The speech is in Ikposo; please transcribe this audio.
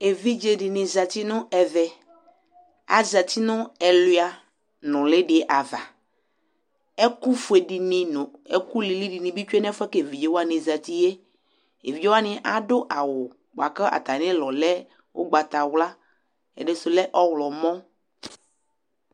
evidze di ni zati no ɛvɛ azati no ɛluia noli di ava ɛko fue di ni no ɛko lili di ni bi tsue no ɛfoɛ ko evidze wani zati yɛevidze wani ado awu boa ko atami ulɔ lɛ ugbata wla ɛdi so lɛ ɔwlɔmɔ